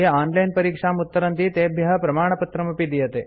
ये ऑनलाइन परीक्षाम् उत्तरन्ति तेभ्यः प्रमाणपत्रमपि दीयते